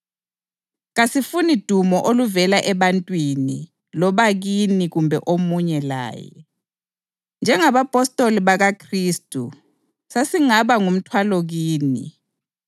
Kasifuni dumo oluvela ebantwini loba kini kumbe omunye laye. Njengabapostoli bakaKhristu sasingaba ngumthwalo kini